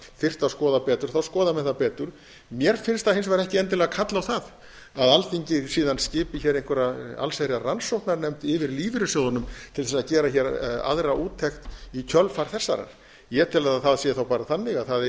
þyrfti að skoða betur þá skoða menn það betur mér finnst það hins vegar ekki endilega kalla á það að alþingi síðan skipi hér einhverja allsherjar rannsóknarnefnd yfir lífeyrissjóðunum til þess að gera hér aðra úttekt í kjölfar þessarar ég tel að það sé þá bara þannig að það